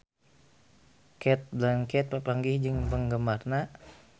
Cate Blanchett papanggih jeung penggemarna